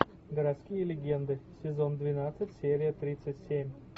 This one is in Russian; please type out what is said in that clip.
городские легенды сезон двенадцать серия тридцать семь